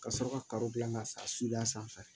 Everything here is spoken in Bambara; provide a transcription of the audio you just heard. Ka sɔrɔ ka gilan ka san su a sanfɛ